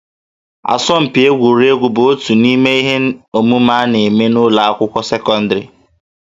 Asọmpi egwuregwu bụ otu n'ime ihe omume a na-eme n'ụlọ akwụkwọ sekọndịrị